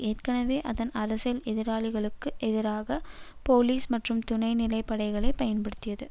ஏற்கெனவே அதன் அரசியல் எதிராளிகளுக்கு எதிராக போலீஸ் மற்றும் துணைநிலை படைகளை பயன்படுத்தியது